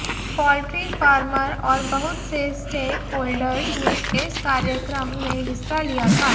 poultry farmer और बहुत से स्टेक होल्डर्स ने इस कार्यक्रम में हिस्सा लिया था